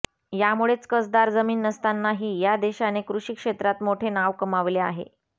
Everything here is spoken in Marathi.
यामुळेच कसदार जमीन नसतानाही या देशाने कृषी क्षेत्रात मोठे नाव कमावले आहे